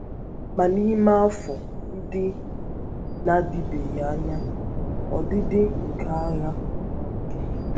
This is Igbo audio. Ma n’ime afọ ndị um na - adịbeghị anya um, ọdịdị ọdịdị nke agha agbanweela. um